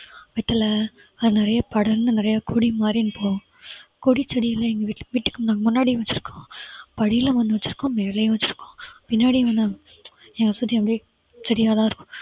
வெற்றிலை அது நிறைய படர்ந்து நிறைய கொடி மாதிரி போகும் கொடி செடியெல்லாம் எங்க வீட்டு வீட்டுக்கு நாங்க முன்னாடியும் வெச்சிருக்கோம் வழியில ஒண்ணு வெச்சிருக்கோம் மேலயும் வெச்சிருக்கோம் பின்னாடியும் வந்து எங்களை சுத்தி அப்படியே செடியெல்லாம் இருக்கும்